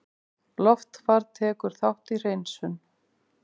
Loftfar tekur þátt í hreinsun